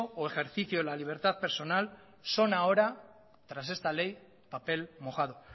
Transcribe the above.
o ejercicio de la libertad personal son ahora tras esta ley papel mojado